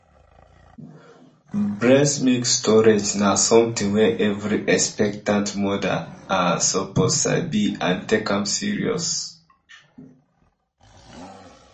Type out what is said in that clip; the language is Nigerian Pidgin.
breast milk storage na something wey every expectant mother ah suppose sabi and take am seriously